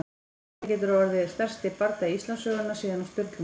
Þetta getur orðið stærsti bardagi Íslandssögunnar síðan á Sturlungaöld!